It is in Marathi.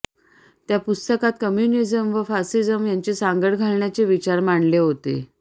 त्या पुस्तकात कम्युनिझम व फासिझम यांची सांगड घालण्याचे विचार मांडले होते